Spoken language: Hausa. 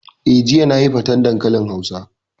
Eh, jiya nayi faten dankalin hausa